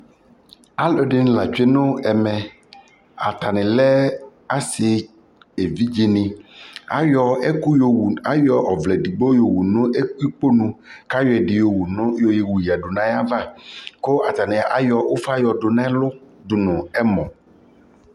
alʋɛdini la twɛnʋ ɛmɛ, atani lɛ asii ɛvidzɛ ni ayɔ ɛkʋ yɔwʋ ayɔ ʋvlɛ ɛdigbɔ yɔwʋ nʋ ɛkpɔnɔ kʋayɔ ɛdi yɔwʋ yɛdʋ nʋ ayiava kʋ atani ayɔ ʋƒa yɔdʋ nʋ ɛlʋ dʋnʋ ɛmɔ